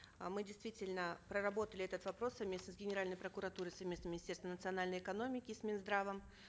э мы действительно проработали этот вопрос совместно с генеральной прокуратурой совместно с министерством национальной экономики с минздравом